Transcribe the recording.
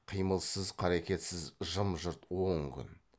қимылсыз қарекетсіз жым жырт он күн